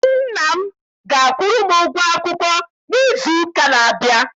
Nna m ga-akwụrụ m ụgwọ akwụkwọ m n'izu ụka na-abịa.